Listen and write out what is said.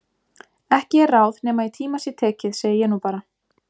Ekki er ráð nema í tíma sé tekið segi ég nú bara.